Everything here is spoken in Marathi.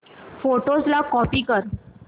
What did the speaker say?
फोटोझ ला कॉपी कर